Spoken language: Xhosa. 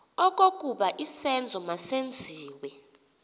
okokuba isenzo masenziwe